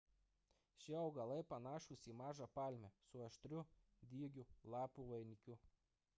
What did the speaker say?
šie augalai panašūs į mažą palmę su aštrių dygių lapų vainiku